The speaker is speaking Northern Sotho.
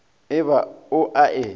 e ba o a e